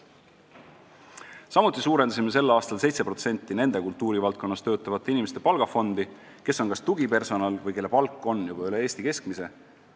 Samuti suurendasime sel aastal 7% nende kultuurivaldkonnas töötavate inimeste palgafondi, kes on kas tugipersonal või kelle palk on juba üle Eesti keskmise.